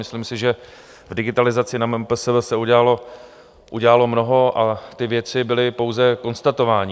Myslím si, že v digitalizaci na MPSV se udělalo mnoho, a ty věci byly pouze konstatování.